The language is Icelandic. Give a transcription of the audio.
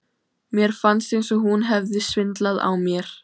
Mér fannst eins og hún hefði svindlað á mér.